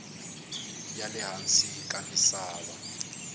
ya le hansi ka misava